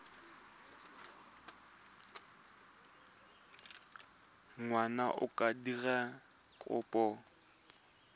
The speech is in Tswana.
ngwana a ka dira kopo